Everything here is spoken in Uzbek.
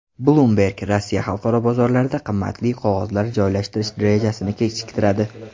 Bloomberg: Rossiya xalqaro bozorlarda qimmatli qog‘ozlar joylashtirish rejasini kechiktiradi.